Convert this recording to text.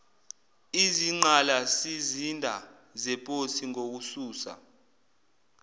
izinqgalasizinda zeposi ngokususa